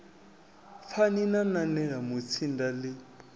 pfani na nanela mutsinda ḽi